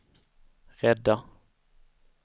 rädda